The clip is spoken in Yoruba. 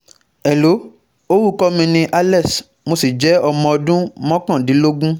hello, orúkọ mi ni alex mo sì jẹ́ ọmọ ọdún mọ́kàndínlógún